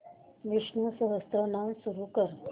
विष्णु सहस्त्रनाम सुरू कर